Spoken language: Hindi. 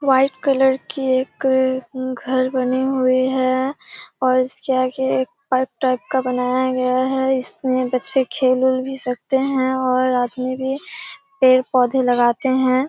वाइट कलर की एक घर बने हुए हैं और इसके आगे एक ट्रक टाइप का बनाया गया है इसमें बच्चे खेल उल भी सकते हैं और आदमी भी पेड़ पौधे लगाते हैं ।